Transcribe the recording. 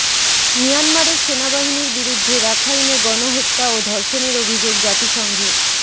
মিয়ানমারের সেনাবাহিনীর বিরুদ্ধে রাখাইনে গণহত্যা ও ধর্ষণের অভিযোগ জাতিসংঘের